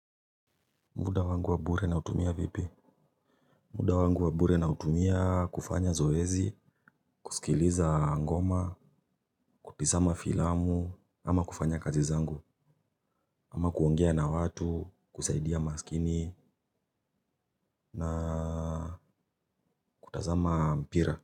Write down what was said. Muda wangu wa bure nautumia vipi? Muda wangu wa bure na utumia kufanya zoezi, kusikiliza ngoma, kutisama filamu, ama kufanya kazi zangu, ama kuongea na watu, kusaidia maskini, na kutazama mpira.